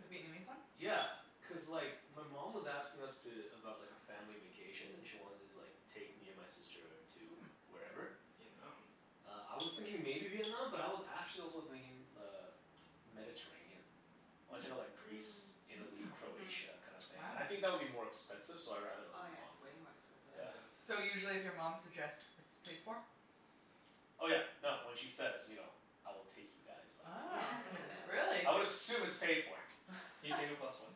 The Vietnamese one? Yeah, cuz like my mom was asking us to, about like a family vacation and she wanted to like take me and my sister to Mm. wherever. Vietnam? Uh, I was thinking maybe Vietnam, but I was actually also thinking uh Mediterranean. I wanna check out Hmm. like Greece, Mm. Italy, Mm. Mhm. Croatia, kinda thing. And Wow. I think that would be more expensive, so I'd rather go Oh, with yeah, it's mom. way more expensive. Yeah. Yeah. So usually if your mom suggests, it's paid for? Oh yeah, no, when she says, you know "I will take you guys," like, Ah, yeah, really? I would assume it's paid for. Can you take a plus one?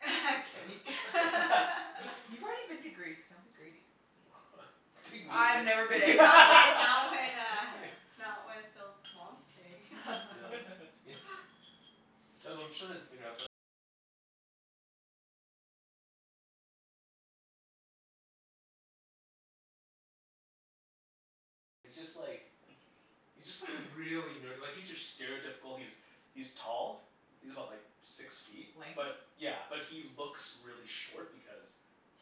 Kenny. You've already been to Greece. Don't be greedy. Take me. I've never I been. went not when uh not when Phil's mom's paying. Yeah. Yeah. he's just like really nerdy. Like he's your stereotypical, he's he's tall. He's about like six feet. Lanky? But yeah, but he looks really short because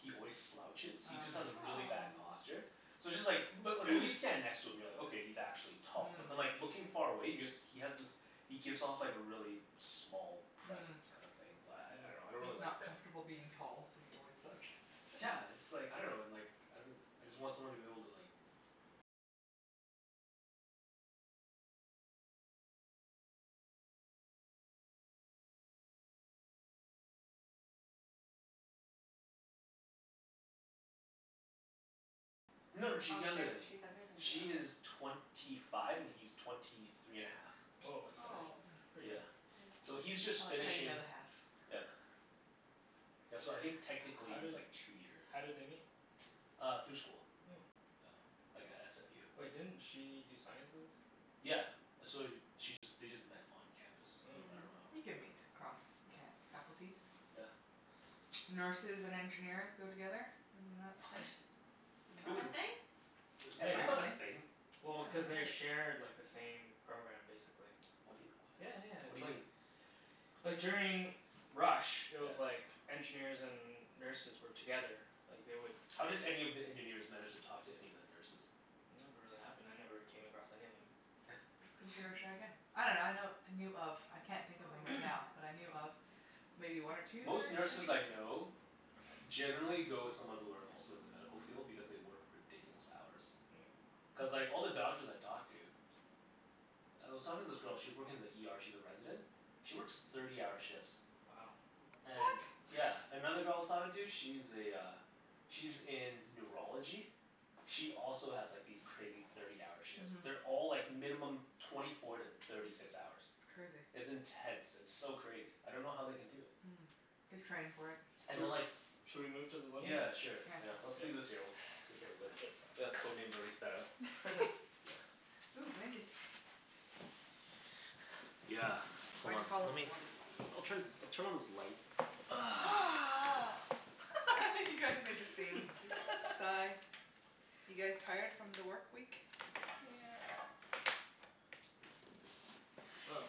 he always slouches. He just Oh. has Mm. really bad Oh. posture. So it's just like, but like when you stand next to him you're like, "Okay, he's actually tall." But then Mm. like looking far away, he just, he has this he gives off like a really small Mm. presence kinda thing. So I I dunno, Mm. I don't He's really like not that. comfortable being tall so he always slouches. Yeah, it's like, I dunno and like, I I just want someone to be able to like No no Oh, sh- she's younger than me. she's younger than She you. is Oh. twenty five and he's twenty three and a half, or Woah, something that's like that. Oh. pretty pretty Yeah. young. So That he's is nice. I just like how you finishing, know the half. yeah Yeah, so I think How technically did he's like two year how did they meet? Uh through school. Oh. Yeah, like at SFU. Wait, didn't she do sciences? Yeah. So she just, they just met on campus. I Oh. dunno Mm. how, You can yeah. meet across ca- Mm. faculties. Yeah. Nurses and engineers go together. Isn't that the What? thing? Is Who that woul- a thing? Yeah, cuz that's not a Apparently, thing. yeah. well, cuz I've they heard. share like the same program, basically. What do you, Yeah yeah, what? What it's do you like mean? like during rush, it Yeah. was like engineers and nurses were together. Like, they would How did any of the engineers manage to talk to any of the nurses? It never really happened. I never really came across any of them. Cuz you're a shy guy. I dunno, I know, I knew of I can't think Oh, of I him right didn't know now, that. but I knew of maybe one or two Most nurse nurses I engineers? know generally go with someone who are also in the medical field because they work ridiculous hours. Mm. Cuz like Mm. all the doctors I've talked to I was talking to this girl, she was working in the ER, she's a resident she works thirty-hour shifts. Wow. What? And yeah. Another girl I was talking to, she's a uh she's in neurology. She also has like these crazy thirty-hour shifts. Mhm. They're all like minimum twenty four to thirty six hours. Crazy. It's intense. It's so crazy. I don't know how they can do it. Mm. They train for it. And then Sho- like should we move to the living Yeah, room? sure. Yeah. Yeah. Let's leave this here. We'll take care of it later. Okay. The Code Name's already set out. Ooh, blankets. Yeah. Hold Why'd on. you follow me? You Lemme, want this one I'll turn, I'll turn on this light. Corner. You guys make the same sigh. You guys tired from the work week? Yeah. Woah,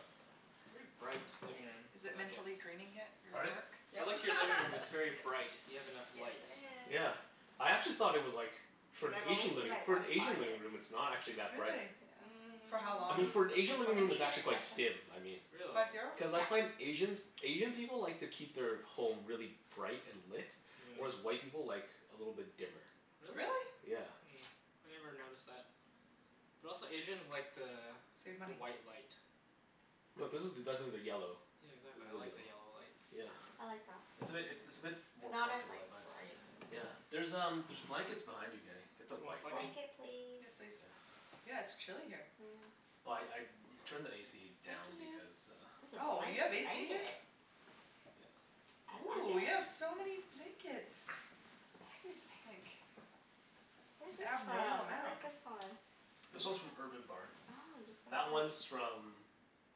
very bright living room. Is it I like it. mentally draining yet? Your Pardon? work? I Yep. like your living room. It's very bright. You have enough Yes, lights. it is. Yeah. I actually thought it was like, for And an I've only Asian seen living, like for an one Asian living client. room it's not actually that bright. Really? Yeah. For how I long mean, for an is the Asian living room Fifty it's actually minute quite sessions. dim, I mean. Really? Five zero? Cuz I Yeah. find Asians, Asian people like to keep their home really bright and lit. Whereas Yeah. white people like a little bit dimmer. Really? Really? Yeah. Hmm. I never noticed that. But also Asians like the Save the money. white light. No, this is definitely the yellow. Yeah, exactly. This is I the like the yellow. yellow light. Yeah. I like that. It's a bit, it it's a bit It's more not as comfortable, like I find. bright. Yeah. There's um, there's blankets behind you Kenny. Get the Do you want white one. blanket? Blanket please? Yes, please. Yeah. Yeah, it's chilly here. Yeah. Well I I turned the AC Thank down you. because uh This is Oh, nice you have AC here? blanket. Yeah. I like Ooh, you have it. so many blankets. This is like Where's this Yeah. abnormal from? I amount. like this one. This one's from Urban Barn. Oh, I'm just That gonna like one's from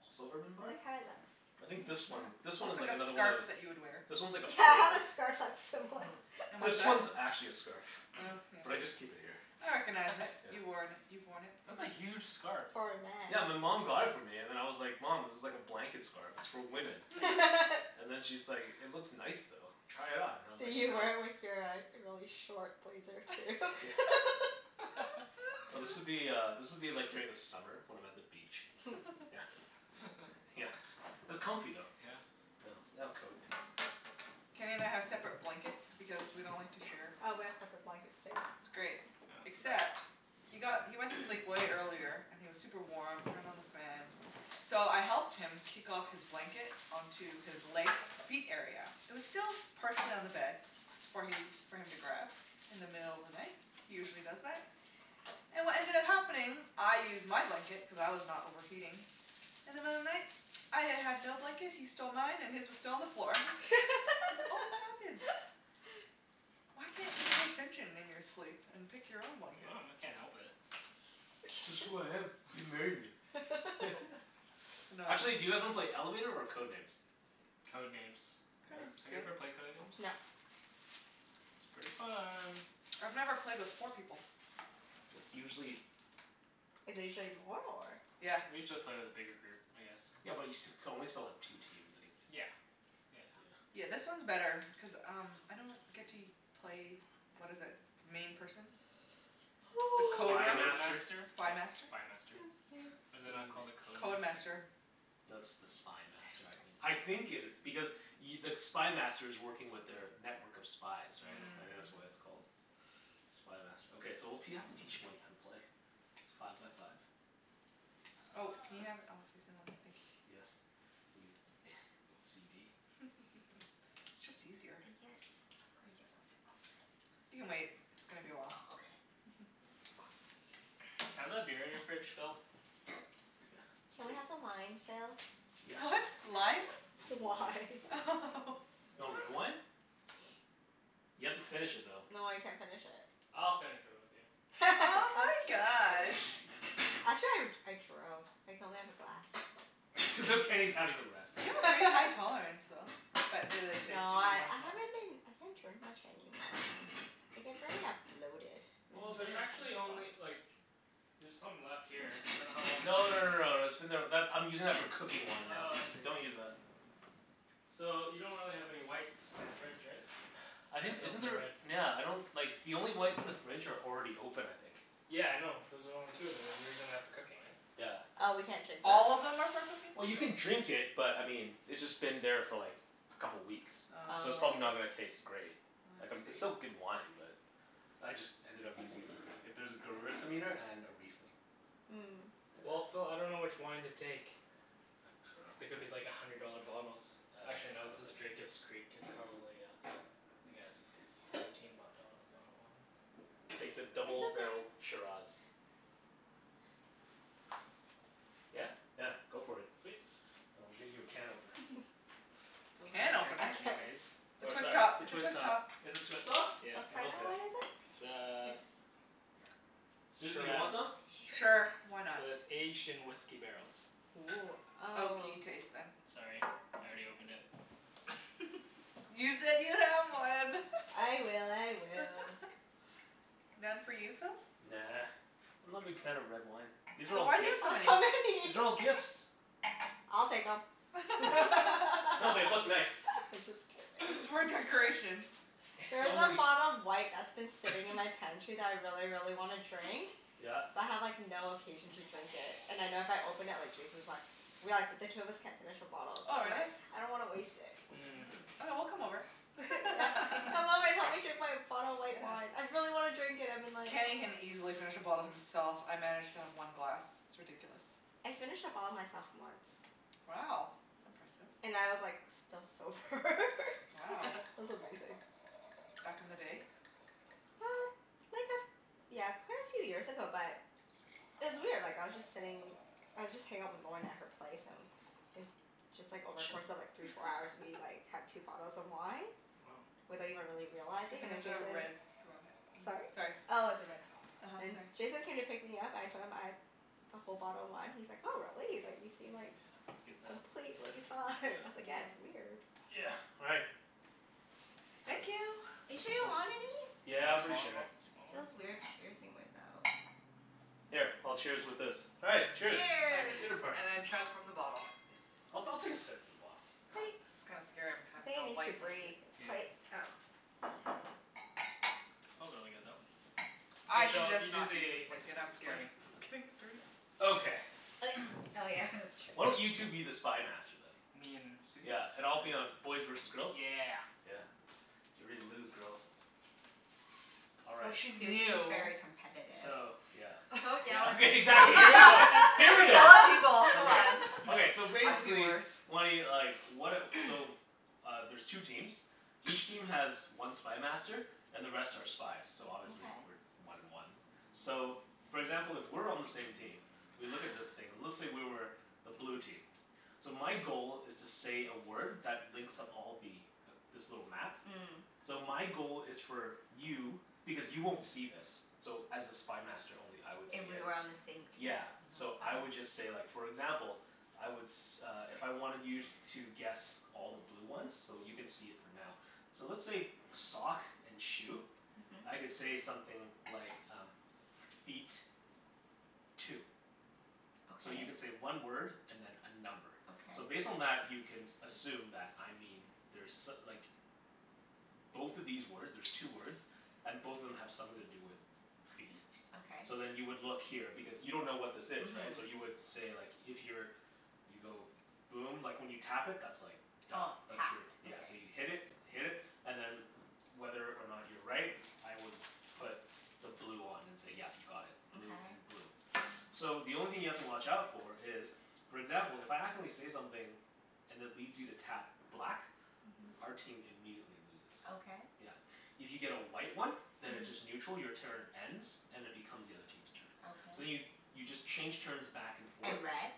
also Urban I Barn? like how it looks. I think Yeah, Mmm. this one, this one looks is like like a another one of scarf those that you would wear. This one's like a Yeah, I have foldover. a scarf that's similar. And what's This that? one's actually a scarf. Oh, yeah. But I just keep it here. I recognize it. Yeah. You worn, you've worn it That's before. a huge scarf. For a man. Yeah, my mom got it for me and then I was like, "Mom, this is like a blanket scarf. It's for women." And then she's like, "It looks nice though. Try it on." And I was like, Did you "No." wear it with your uh really short blazer, too? Yeah. No, this would be uh, this would be like during the summer when I'm at the beach. Yeah. Yeah. It's it's comfy though. Yeah? Yeah. Let's lay out Code Names. Kenny and I have separate blankets because we don't like to share. Oh, we have separate blankets, too. It's great, Yeah, it's the best. except he got, he went to sleep way earlier, and he was super warm. Turned on the fan. So I helped him kick off his blanket onto his leg, feet area. It was still partially on the bed. S- for he, for him to grab, in the middle of the night. He usually does that. And what ended up happening, I used my blanket cuz I was not overheating. In the middle of the night, I y- had no blanket, he stole mine, and his was still on the floor. This always happens. Why can't you pay attention in your sleep and pick your own I blanket? dunno. I can't help it. It's just who I am. You married me. I know. Actually, do you guys wanna play Elevator or Code Names? Code Names. Code Yeah? Names is Have you good. ever played Code Names? No. It's pretty fun. I've never played with four people. It's usually Is it usually more, or? Yeah. We usually play with a bigger group, I guess. Yeah but you st- you can only still have two teams anyways. Yeah. Yeah. Yeah. Yeah, this one's better cuz um I don't get to u- play, what is it? The main person? The The Spy Coder? Code Master? Master? Oh, Spy Master? Spy Master. 'Scuse me. Is it not called a Code Code Master? Master. No, it's the Spy Master I think. Damn. I think it is. Because y- the Spy Master's working with their network of spies, right? Mm, I think Mm. that's why mhm. it's called Spy Master. Okay, so we'll t- you'll have to teach Wenny how to play. Five by five. Oh, can you have it all facing one way? Thank you. Yes. Are you OCD? It's just easier. I can't s- I guess I'll sit closer. You can wait. It's gonna be a while. Oh, okay. Can I have that beer in your fridge, Phil? Yeah. Can we Sweet. have some wine, Phil? Yeah. What? Lime? Wine. Wine. Do you want red wine? You have to finish it though. No, I can't finish it. I'll finish it with you. Oh my gosh. Actually I r- I drove. I can only have a glass. As if Kenny's having the rest. You have a pretty high tolerance, though. But it is safe No, to do I one I haven't been I can't drink much anymore. Mm. I get very a bloated, and Well, it's Mm. there's very actually uncomfortable. only like there's some left here. I dunno how long it's No been no no here. no, that's been there, that, I'm using that for cooking wine now. Oh, I see. Don't use that. So, you don't really have any whites in the fridge, right? I You'd think, have to isn't open a there, red. nyeah, I don't like the only whites in the fridge are already open I think. Yeah, I know, those are the only two of them and you're using that for cooking, right? Yeah. Oh, we can't drink those? All of them are for cooking? Well you can drink it, but I mean it's just been there for like a couple weeks Oh. so it's probably Oh. not gonna taste great. Oh Like um I it's still see. good wine but I just ended up using it for cooking. If there's a gewürztraminer and a riesling. Hmm. Well, Yeah. Phil, I dunno which wine to take. Cuz Uh they I could be like a dunno hundred dollar bottles. Uh Actually I no, don't this is think s- Jacob's Creek. It's probably uh like a t- fifteen b- dollar bottle of wine? Take the It's double okay. barrel Shiraz. Yeah? Yeah, go for it. Sweet. I'll get you a can opener. Phil Can doesn't drink A opener? it can op- anyways. It's a Or twist sorry top. It's a Twist twist top. top. Is this twist off? Yeah. What Then kinda okay. wine is it? It's a Ex- Susie, you want shiraz. some? Sure. Why Shiraz. not? But it's aged in whisky barrels. Woo. Oh. Oaky taste, then. Sorry, I already opened it. You said you have one. I will. I will. None for you, Phil? Nah. I'm not a big fan of red wine. These are So all why do you have gifts. so many? So many. These are all gifts. I'll take 'em. I'm No, they look just nice. kidding. It's for decoration. There It's is a only bottle of white that's been sitting in my pantry that I really, really wanna drink. Yeah. But I have like no occasion to drink it. And I know if I open it, like Jason's like we like, but the two of us can't finish a bottle so Oh, really? like I don't wanna waste it. Mm. Mmm. Okay, we'll come over. Yeah. Come over and help me drink my bottle of white wine. Yeah. I really wanna drink it. I've been like, Kenny can oh easily finish a bottle himself. I manage to have one glass. It's ridiculous. I finished a bottle myself, once. Wow. That's impressive. And I was like still sober Wow. It was amazing. Back in the day? Uh, like a f- yeah, quite a few years ago but it was weird. Like, I was just sitting I was just hangin' out with Lorna at her place, and it just like, over course of like three, four hours we like had two bottles of wine Woah. without even really Good realizing, thing and then it's a Jason red rug. Mhm. Sorry? Sorry. Oh, it's a red. uh-huh. And Sorry. Jason came to pick me up. I told him, I'd a whole bottle of wine, he's like, "Oh, really?" He's like "You seem Yeah, like I get that. completely fine." I was like, "Yeah, Yeah. it's weird." Yeah, all right. Thank you. Are you sure you don't want any? Yeah, Wanna I'm pretty smaller o- sure. smaller one? Feels weird cheersing without Here, I'll cheers with this. All right. Cheers. Cheers. Dinner Cheers. party. And then chug from the bottle, yes. I'll I'll take a sip from the bottle. Oh, Wait. this is kinda scary. I'm I having think it a needs to white breathe. blanket. It's Yeah. quite, um Smells really good, though. Mhm. K I should Phil, just you do not use this the ex- blanket. I'm scared explaining. of getting it dirty. Okay. Like, oh yeah. Why don't That's you true. two be the Spy Master, then? Me and Susie? Yeah, and I'll be on, K. boys versus girls? Yeah. Yeah. Get ready to lose, girls. All Well, right. she's Susie's new. very competitive. So, yeah Don't yell Yeah at me, Susie. exactly. Here we I go. You Here we never yell go. yell at at people. people, come Come Okay, on. on. okay. So I've seen basically worse. Wenny, like, what a, so Uh, there's two teams. Each team has one Spy Master. And the rest are spies, so obviously we're Okay. one and one. So, for example, if we're on the same team we look at this thing and let's say we were the blue team. So my goal is to say a word that links up all the, this little map. Mm. So my goal is for you, because you won't see this so as a Spy Master only I would If see we it. were on the same team? Yeah. So Mhm. I would Okay. just say like, for example I would s- uh if I wanted you to guess all the blue ones So you can see it for now. So let's say sock and shoe. Mhm. I could say something like um Feet. Two. So you can Okay. say one word and then a number. Okay. So based on that you can s- assume that I mean there's so- like Both of these words, there's two words And both of them have something to do with Feet. feet. Okay. So then you would look here because you don't know what this is, right? So you Mhm. would say like, if you're you go boom. Like, when you tap it that's like Done. Oh. That's Tap. your, yeah. Okay. So you hit it. Hit it, and then whether or not you're right I would put the blue on and say yeah, you got it. Blue and Okay. blue. So the only thing you have to watch out for is for example, if I accidentally say something and it leads you to tap black Mhm. our team immediately loses. Okay. Yeah. If you get a white one then it's Mhm. just neutral. Your turn ends and it becomes the other team's turn. So then you, Okay. you just change turns back and forth And red?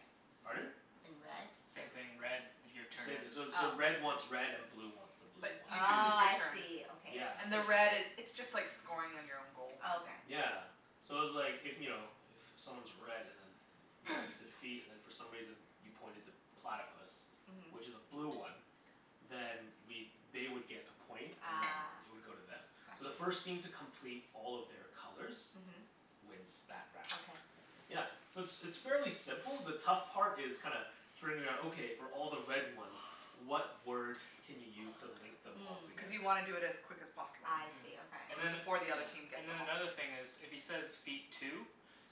Pardon? And red? Same thing. Red, your turn Same, ends. so so Oh. red wants red and blue wants the blue But you ones. just lose Oh, your I turn. see. Okay, Yeah. I And the red see. is, it's just like scoring on your own goal, Oh kinda thing. okay. Yeah. So it's like, if, you know, if someone's red and then you know, you said feet and then for some reason you pointed to platypus Mhm. which is a blue one then we'd, they would get a point and then Ah, it would go to them. So the gotcha. first team to complete all of their colors Mhm. wins that round. Okay. Yeah. So it's it's fairly simple. The tough part is kinda figuring out, okay, for all the red ones what word can you use to link them all Mm. Cuz together? you wanna do it as quick as possible. I Mhm. see. And Okay. So then, Before the yeah, other team gets and them then all. another thing is if he says, "Feet. Two."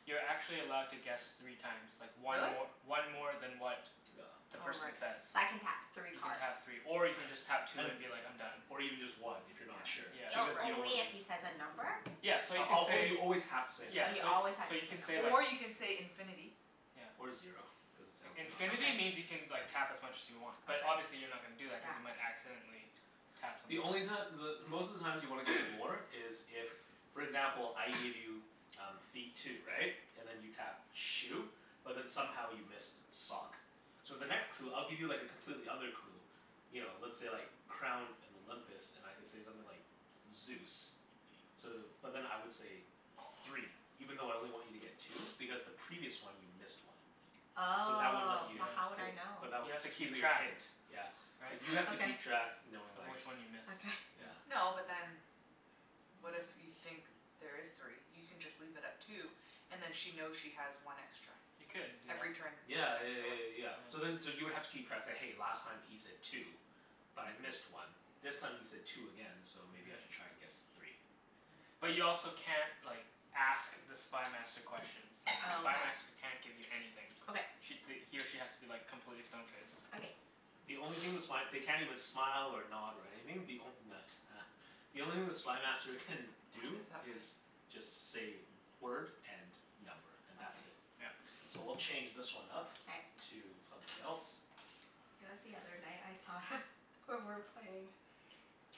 You're actually allowed to guess three times. Like one Really? mor- one more than what Yeah. the Oh, right. person So says. I can tap three You can cards? tap three. Or you can just tap two And, and be like, "I'm done." or even just one if you're Yeah, not sure, Yeah. O- because right. you don't wanna only if he says a number? Yeah. So you can say you always have to say a number. Yeah, Oh, you so always have so to say you a can say number. like Or you can say, "infinity." Yeah. Or zero, cuz it sounds not as Infinity lame. Okay. means you can like tap as much as you want. But Okay. obviously you're not gonna do that cuz Yeah. you might accidentally tap something The else. only reason that the, most of the times you want to get more is if for example, I give you um feet, two. Right? And then you tapped shoe? But then somehow you missed sock. So the next clue, I'll give you like a completely other clue you know, let's say like crown and Olympus and I could say something like Zeus. So, but then I would say three even though I only want you to get two because the previous one you missed one. So that would let Oh, you, Yeah. but how would cuz, I know? but that, You have to that'll keep be your track. hint. Yeah. But Right? you have to Okay. keep tracks knowing Of like which one you miss. Okay. Yeah. Yeah. No, but then what if you think there is three? You can just leave it at two and then she knows she has one extra. You could do Every turn that. you get Yeah yeah an yeah extra yeah one. yeah Yeah. yeah. So then so you would have to keep tracks, say "Hey, last time he said two." "But I missed Mhm. one." "This time he said two again. So maybe I Mhm. should try and guess three." Mhm. But But you also can't like ask the Spy Master questions. It's like the Spy Oh, Master can't give you okay. anything. Okay. Sh- th- he or she has to be like completely stone faced. Okay. The only thing the sp- they can't even smile or nod or anything. The onl- nut, huh. The only thing the Spy Master can What do is that fa- is just say word and number, and that's it. Okay. Yeah. So we'll change this one up K. to something else. You know what the other night I thought of, we were playing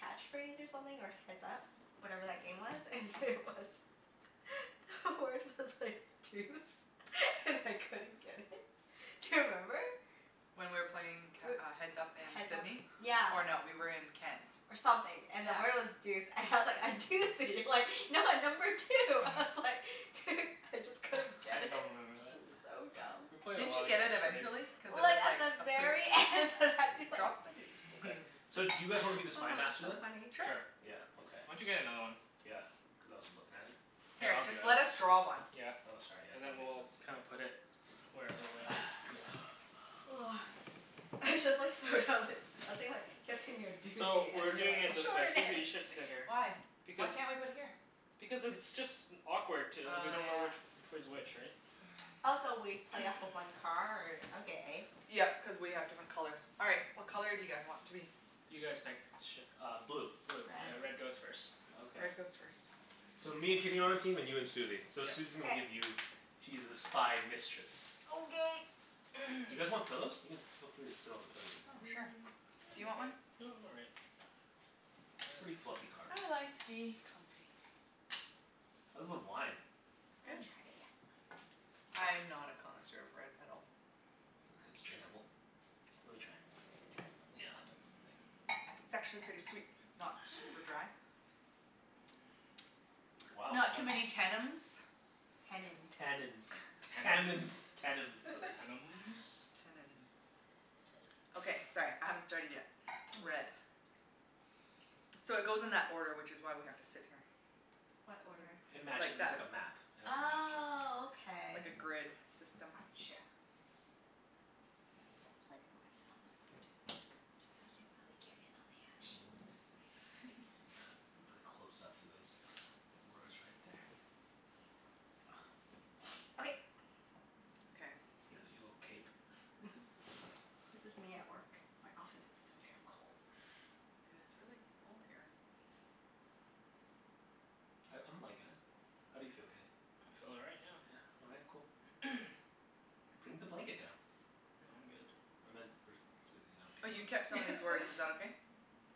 Catch Phrase or something, or Heads Up. Whatever that game was. And it was The word was like deuce. And I couldn't get it. Do you remember? When we were playing c- We're, uh Heads Up in Heads Up Sidney. Yeah. Or no, we were in Ken's. or something. And the Yeah. word was deuce. And I was like, "I do see you, like no, number two." I was like I just couldn't I get it. don't remember that. It was so We dumb. played a Didn't lot you of get it Catch Phrase. eventually? Cuz it Well, was it's at like the a pers- very end that I'd be like Drop a deuce. Okay. So do Oh, you guys wanna be the Spy Master so then? funny. Sure. Sure. Yeah, okay. Why don't you get another one? Yeah, cuz I wasn't lookin' at it. Here, Here, I'll do just it. let us draw one. Yeah. Oh, sorry. Yeah, And then that makes we'll kinda sense. put Yeah. it whatever way. It's just like, so dumb that I was thinking like, kept saying you're a So, doozy, and we're you're doing like, it this way. Susie, "Extraordinary!" you should sit here. Why? Why Because can't we put it here? Because it's just awkward t- we Oh, don't know yeah. which which way's which, right? Also, we play off of one card? Okay. Yep, cuz we have different colors. All right. What color do you guys want to be? You guys pick. Sure, uh blue. Blue. Okay, Red. red goes first. Okay. Red goes first. So, me and Kenny on our team, and you and Susie. So Yep. Susie's gonna K. give you She's the Spy Mistress. Okay. You guys want pillows? You can, feel free to sit on the pillows if you Oh, want. sure. Mm, Do you I'm want okay. one? No, I'm all right. Pretty fluffy carpet. I like to be comfy. How's the wine? It's I good. haven't tried it yet. I'm not a connoisseur of red at all. Sure, it's drinkable. Let me try. Try? Yeah, thanks. It's actually pretty sweet. Not super Hmm. dry. Wow, Not too many yeah. tennums. Tennins. Tannins. Tammins. Tennums? Tennums. Tannums. Tannins. Okay, sorry. I haven't started yet. Red. So, it goes in that order, which is why we have to sit here. What Goes order? It in matches like it, it's that. like a map Oh, okay. Like a grid system. Gotcha. Feel like I'm gonna sit on the floor, too. Just so I can really get in on the action. Really close up to those words right there. Okay. Okay. Look at your little cape. This is me at work. My office is so damn cold. Yeah, it's really cold here. I I'm likin' it. How do you feel, Kenny? I feel all right, yeah. Yeah? All right. Cool. Bring the blanket down. No, I'm good. I meant for Susie. Oh, I don't you care kept about some of these words. Is that okay?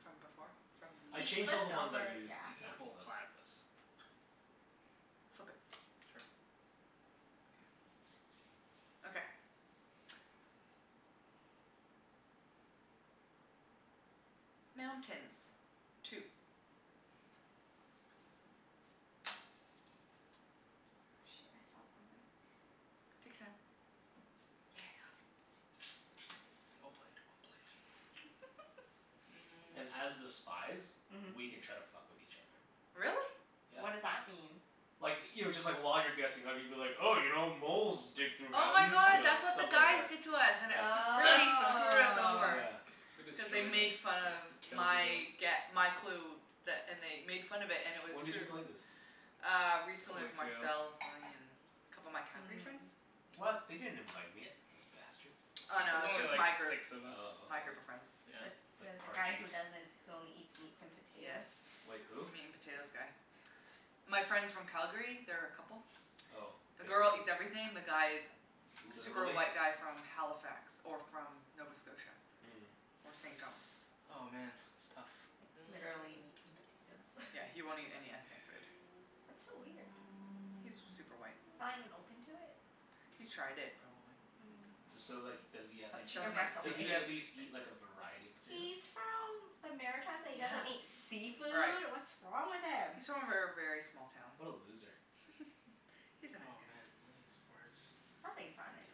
From before? From the I He changed all the flipped ones I over, used yeah. N- examples well, of. platypus. Flip it. Sure. Yeah. Okay. Mountains. Two. Oh, shit. I saw something. Take your time. Yeah. Well played. Well played. Mm. And as the spies Mhm. We can try to fuck with each other. Really? Yeah. What does that mean? Like, you know, just like while you're guessing I could be like, 'Oh, you know, moles dig through Oh my mountains." You god, know? that's what the Stuff like guys that. did to us and it Yeah. fu- really screwed us Oh. over. Yeah. We destroyed Cuz they them. made fun of We killed my the girls. gue- my clue. That and they made fun of it, and it was When did true. you play this? Uh, A recently couple with weeks ago. Marcel, Bonnie, and a couple of my Calgary friends. Mm. What? They didn't invite me, those bastards. Oh It no, was it was only just my like group, six of us. Oh, my okay. group of friends. Yeah. The the Like the guy Parjeet. who doesn't, who only eats meats and Yes, potatoes? Wait, who? meat and potatoes guy. My friends from Calgary. They're a couple. Oh. The The girl girl, eats everything. The guy is super literally? white guy from Halifax. Or from Nova Scotia. Mm. Or St. John's. Oh, man. It's tough. Like, Mm. literally meat and potatoes. Yeah, he won't eat any ethnic food. That's so weird. He's super white. He's not even open to it? He's tried it, probably, and Mm. didn't D- So so like does he at least chicken Doesn't eat breast eat, does only. he at seafood. least eat like a variety of He's potatoes? from the Maritimes and he Yeah. doesn't eat Right. seafood? What's wrong with him? He's from a ver- very small town. What a loser. He's a nice Oh guy. man, none of these words do Sounds like he's not a nice